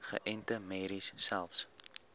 geënte merries selfs